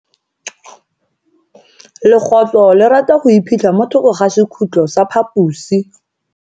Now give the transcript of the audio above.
Legotlo le rata go iphitlha mo thoko ga sekhutlo sa phaposi.